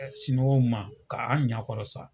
Siniwaw ma ka anw ɲakɔrɔ sa.